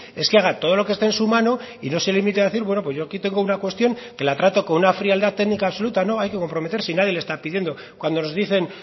es que haga todo lo que esté en su mano y no se limite a decir bueno pues aquí tengo una cuestión que la trato con una frialdad técnica absoluta no hay que comprometerse y nadie le está pidiendo cuando nos dicen